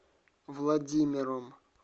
владимиром